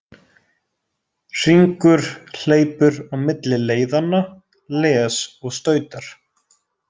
Hringur hleypur á milli leiðanna, les og stautar.